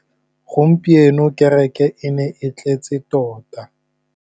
Gompieno kêrêkê e ne e tletse tota.